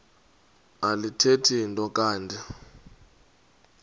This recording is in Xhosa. alithethi nto kanti